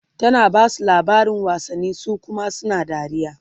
tana Basu labarin wasanni su Kuma suna dariya